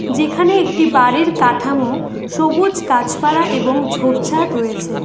যেখানে একটি বাড়ির কাঠামো সবুজ গাছপালা এবং ঝোপঝাড় রয়েছে।